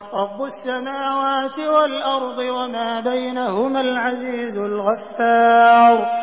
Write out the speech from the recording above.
رَبُّ السَّمَاوَاتِ وَالْأَرْضِ وَمَا بَيْنَهُمَا الْعَزِيزُ الْغَفَّارُ